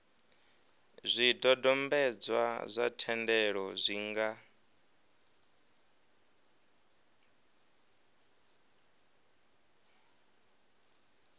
zwidodombedzwa zwa thendelo zwi nga